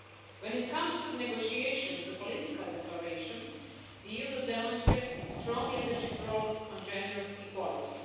When it comes to the negotiation of the political declaration, the EU will demonstrate its strong leadership role on gender equality.